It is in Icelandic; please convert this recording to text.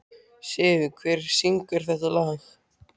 Siv, hver syngur þetta lag?